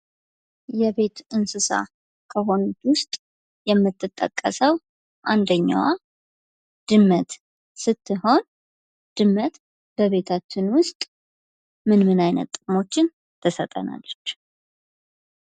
የቤት እንስሳ ከሆኑት ውስጥ የምትጠቀሰው አንደኛዋ ድመት ስትሆን ድመት በቤታችን ውስጥ ምን ምን አይነት ጥቅሞችን ትሰጠናለች ?